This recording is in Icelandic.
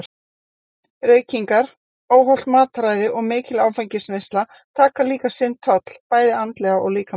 Reykingar, óhollt mataræði og mikil áfengisneysla taka líka sinn toll bæði andlega og líkamlega.